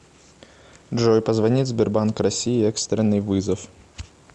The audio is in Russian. джой позвонить сбербанк россии экстренный вызов